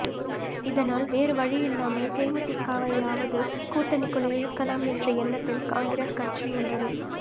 இதனால் வேறு வழியில்லாமல் தேமுதிகவையாவது கூட்டணிக்குள் இழுக்கலாம் என்ற எண்ணத்தில் காங்கிரஸ் கட்சி உள்ளது